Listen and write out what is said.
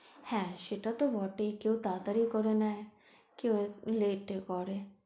হ্যাঁ সেটা তো বটেই কেউ তাড়াতাড়ি করে নেয় কেউ late এ করে।